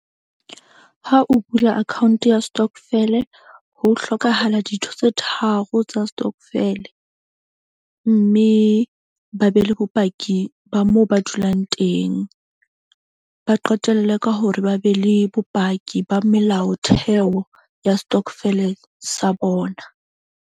Ha o bula account ya stokvel-e, ho hlokahala dintho tse tharo tsa stokvel-e. Mme ba be le bopaki ba moo ba dulang teng, ba qetelle ka hore ba be le bopaki ba melaotheo ya stokvel-e sa bona.